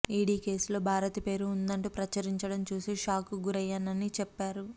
ఈడీకేసులో భారతి పేరు ఉందంటూ ప్రచురించడం చూసి షాక్కు గురయ్యానని చెప్పారు